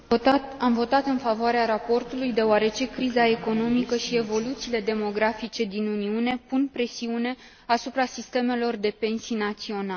Am votat în favoarea raportului deoarece criza economică și evoluțiile demografice din Uniune pun presiune asupra sistemelor de pensii naționale.